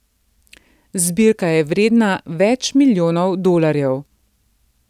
Zbirka je vredna več milijonov dolarjev.